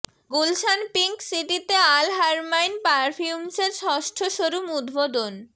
Gulshan pink সিটিতে Al Haramain পারফিউমসের ষষ্ঠ শোরুম উদ্বোধন